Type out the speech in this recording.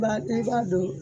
Ba i b'a don